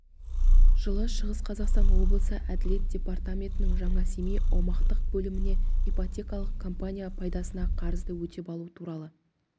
жылы шығыс қазақстан облысы әділет департаментінің жаңасемей аумақтық бөліміне ипотекалық компания пайдасына қарызды өтеп алу туралы